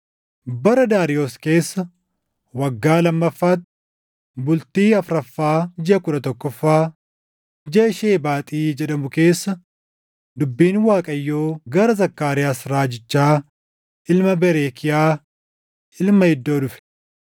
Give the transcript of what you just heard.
Bara Daariyoos keessa, waggaa lammaffaatti, bultii afuraffaa jiʼa kudha tokkoffaa, jiʼa Shebaaxi jedhamu keessa dubbiin Waaqayyoo gara Zakkaariyaas raajichaa ilma Berekiyaa, ilma Iddoo dhufe.